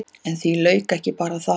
En því lauk ekki bara þar.